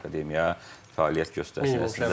ki, akademiya fəaliyyət göstərsin.